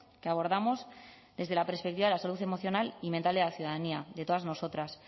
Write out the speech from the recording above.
que abordamos desde la perspectiva de la salud emocional y mental de la ciudadanía de todas nosotras